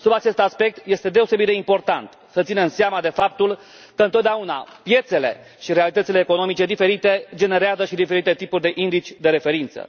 Sub acest aspect este deosebit de important să ținem seama de faptul că, întotdeauna, piețele și realitățile economice diferite generează și diferite tipuri de indici de referință.